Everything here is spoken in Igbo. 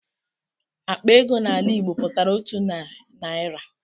Akpa ego n'ala Igbo pụtara otu narị naira.